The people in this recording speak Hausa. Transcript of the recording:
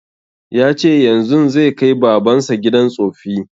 Ya ce yanzun zai kai baban sa gidan tsoffi